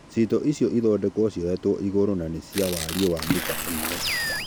cĩĩto ĩcĩo cĩthondekwo cĩoyetwo ĩgũrũ na nĩ cĩa warĩĩ wa mĩta ĩmwe